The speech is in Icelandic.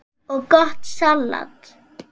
og gott salat.